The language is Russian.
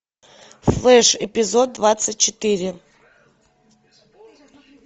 флеш эпизод двадцать четыре